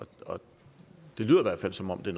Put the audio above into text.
det lyder i hvert fald som om det